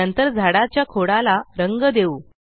नंतर झाडाच्या खोडाला रंग देऊ